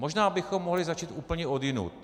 Možná bychom mohli začít úplně odjinud.